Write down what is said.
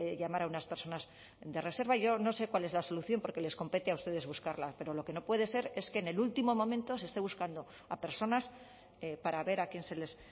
llamar a unas personas de reserva yo no sé cuál es la solución porque les compete a ustedes buscarla pero lo que no puede ser es que en el último momento se esté buscando a personas para ver a quién se les